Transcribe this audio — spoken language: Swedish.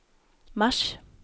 mars